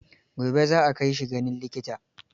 Gobe za a kai shi ganin likita.